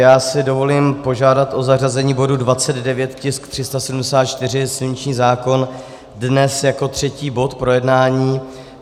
Já si dovolím požádat o zařazení bodu 29, tisk 374, silniční zákon, dnes jako třetí bod projednání.